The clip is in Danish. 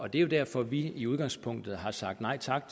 det er jo derfor vi i udgangspunktet har sagt nej tak